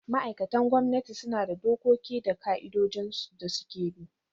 Ma'aikatan gwamnati suna da dokoki da ka'idojin da suke bi.